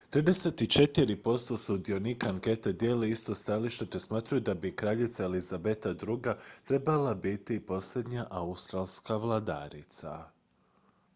34 posto sudionika ankete dijeli isto stajalište te smatraju da bi kraljica elizabeta ii trebala biti posljednja australska vladarica